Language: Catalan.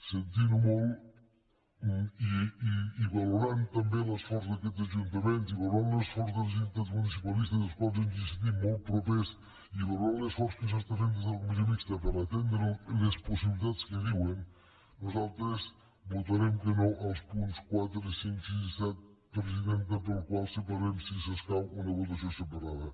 sentint ho molt i valorant també l’esforç d’aquests ajuntaments i valorant l’esforç de les entitats municipalistes a les quals ens sentim molt propers i valorant l’esforç que es fa des de la comissió mixta per atendre les possibilitats que diuen nosaltres votarem que no als punts quatre cinc sis i set presidenta per al qual demanem si s’escau una votació separada